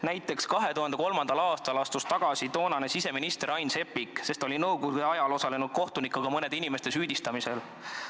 Näiteks 2003. aastal astus siseminister Ain Seppik tagasi, sest ta oli nõukogude ajal osalenud kohtunikuna mõne inimese süüdistamisel.